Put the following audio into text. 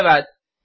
अलविदा